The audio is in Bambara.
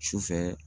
Sufɛ